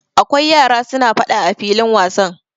Akwai yara suna faɗa a filin wasan.